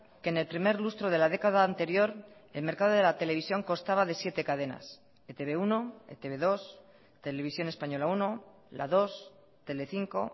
que en el primer lustro de la década anterior el mercado de la televisión constaba de siete cadenas e te be uno e te be dos televisión española uno la dos telecinco